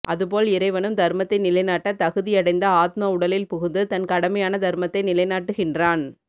அதுபோல் இறைவனும் தர்மத்தை நிலை நாட்ட தகுதியடைந்த ஆத்ம உடலில் புகுந்து தன் கடமையான தர்மத்தை நிலை நாட்டுகின்றான்